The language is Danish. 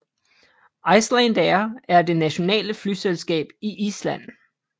Icelandair er det nationale flyselskab i Island